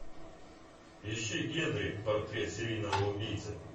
ищи генри портрет серийного убийцы